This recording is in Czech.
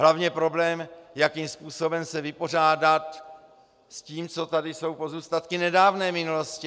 Hlavně problém, jakým způsobem se vypořádat s tím, co tady jsou pozůstatky nedávné minulosti.